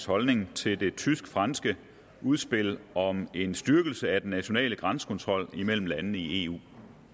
holdning til det tysk franske udspil om en styrkelse af den nationale grænsekontrol imellem landene i eu